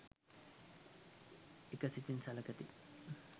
එක සිතින් සළකති.